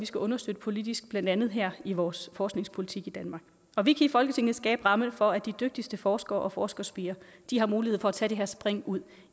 skal understøtte politisk blandt andet her i vores forskningspolitik i danmark og vi kan i folketinget skabe rammerne for at de dygtigste forskere og forskerspirer har mulighed for at tage det her spring ud